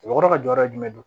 Mɔgɔkɔrɔba jɔyɔrɔ ye jumɛn ye